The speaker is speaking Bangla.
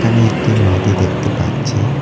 এখানে একটি নদী দেখতে পাচ্ছি।